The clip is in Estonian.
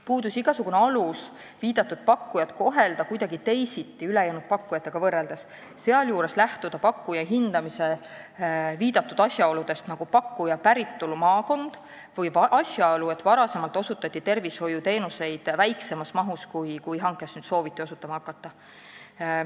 Puudus igasugune alus viidatud pakkujat kohelda ülejäänud pakkujatega võrreldes kuidagi teisiti, sealjuures lähtuda pakkuja hindamisel asjaoludest, nagu pakkuja päritolumaakond või see, et varem oli tervishoiuteenuseid osutatud väiksemas mahus, kui nüüd selle hankega sooviti osutama hakata.